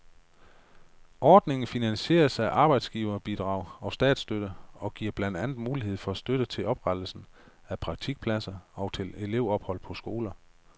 Ordningen finansieres af arbejdsgiverbidrag og statsstøtte og giver blandt andet mulighed for støtte til oprettelsen af praktikpladser og til elevophold på skoler.